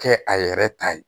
Kɛ a yɛrɛ ta ye